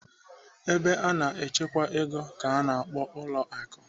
Ebe a na-echekwa ego ka a na-akpọ ụlọ akụ.